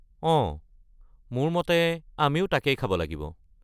অঁ, মোৰ মতে আমিও তাকেই খাব লাগিব।